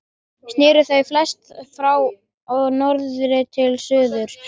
Sneru þau flest frá norðri til suðurs.